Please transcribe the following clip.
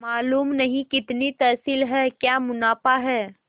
मालूम नहीं कितनी तहसील है क्या मुनाफा है